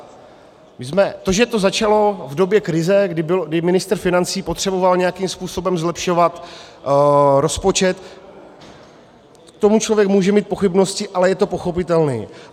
To, že to začalo v době krize, kdy ministr financí potřeboval nějakým způsobem zlepšovat rozpočet, k tomu člověk může mít pochybnosti, ale je to pochopitelné.